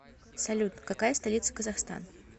салют какая столица казахстан